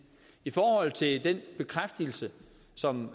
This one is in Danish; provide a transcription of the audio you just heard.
i forhold til den bekræftelse som